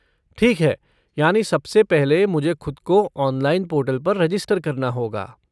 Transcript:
ठीक है! यानि सबसे पहले मुझे खुद को ऑनलाइन पोर्टल पर रजिस्टर करना होगा।